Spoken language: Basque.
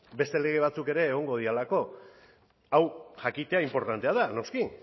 beste lege batzuk ere egongo direlako hau jakitea inportantea da noski